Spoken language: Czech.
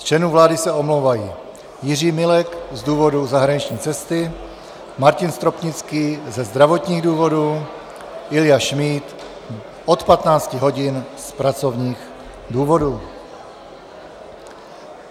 Z členů vlády se omlouvají Jiří Milek z důvodu zahraniční cesty, Martin Stropnický ze zdravotních důvodů, Ilja Šmíd od 15 hodin z pracovních důvodů.